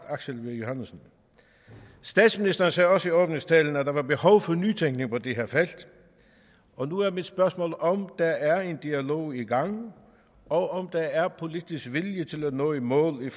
aksel v johannesen statsministeren sagde også i åbningstalen at der var behov for nytænkning på det her felt og nu er mit spørgsmål om der er en dialog i gang og om der er politisk vilje til at nå i mål